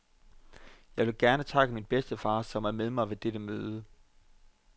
Jeg vil gerne takke min bedstefar, som er med mig ved dette møde.